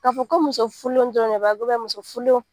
Ka fɔ ko muso furulenw dɔrɔn de ba kɛ muso furulenw